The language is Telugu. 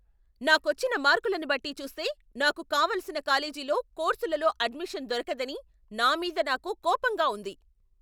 నాకొచ్చిన మార్కులను బట్టి చూస్తే నాకు కావలసిన కాలేజీలో, కోర్సులలో అడ్మిషన్ దొరకదని నా మీద నాకు కోపంగా ఉంది.